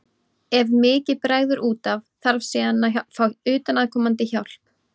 Ef mikið bregður út af þarf síðan að fá utanaðkomandi hjálp.